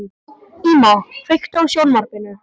Íma, kveiktu á sjónvarpinu.